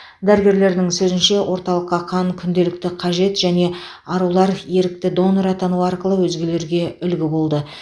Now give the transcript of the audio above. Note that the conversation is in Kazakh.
дәрігерлерінің сөзінше орталыққа қан күнделікті қажет және арулар ерікті донор атану арқылы өзгелерге үлгі болды